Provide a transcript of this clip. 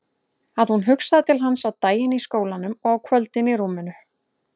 Að hún hugsaði til hans á daginn í skólanum og á kvöldin í rúminu.